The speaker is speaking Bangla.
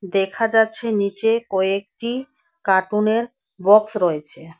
দেখা যাচ্ছে নীচে কয়েকটি কার্টুনের বক্স রয়েছে।